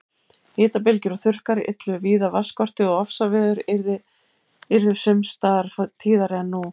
Hitabylgjur og þurrkar yllu víða vatnsskorti og ofsaveður yrðu sums staðar tíðari en nú.